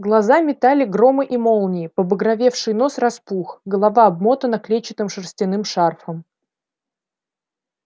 глаза метали громы и молнии побагровевший нос распух голова обмотана клетчатым шерстяным шарфом